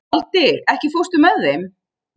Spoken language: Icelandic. Valdi, ekki fórstu með þeim?